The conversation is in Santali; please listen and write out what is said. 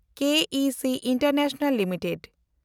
K E C international limited